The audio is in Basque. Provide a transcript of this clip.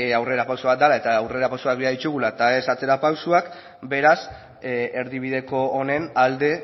aurrera pauso bat dala eta aurrera pausoak behar ditugula eta ez atzera pausoak beraz erdibideko honen alde